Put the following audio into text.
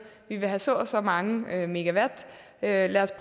vi vil have så og så mange megawatt lad os